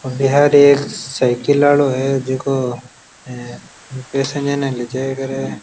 और बाहर एक साइकिल आलो है जिको इ पैसेंजर ने लेजाया करे है।